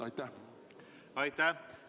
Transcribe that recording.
Aitäh!